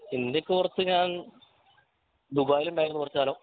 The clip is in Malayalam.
ഇന്ത്യക്ക് പുറത്ത് ഞാൻ ദുബായിൽ ഉണ്ടായിരുന്നു കുറച്ച് കാലം